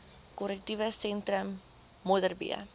korrektiewe sentrum modderbee